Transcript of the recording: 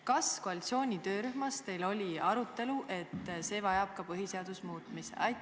Kas koalitsiooni töörühmas teil oli arutelu, et see muudatus eeldab ka põhiseaduse muutmist?